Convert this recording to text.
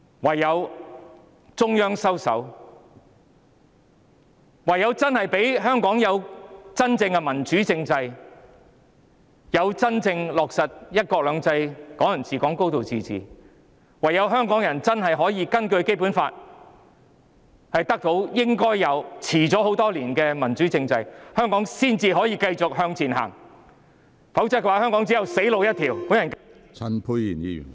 唯有中央收手；唯有給予香港真正的民主政制，真正落實"一國兩制"、"港人治港"、"高度自治"；唯有香港人真的可以根據《基本法》得到他們應有、並已延遲多年的民主政制，香港才能繼續向前走，否則香港只有"死路一條"。